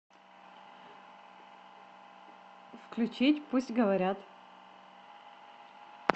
включить пусть говорят